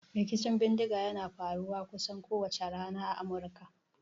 Rikicin bindiga yana faruwa kusan kowace rana a Amurka.